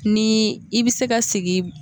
Ni i bi se ka sigi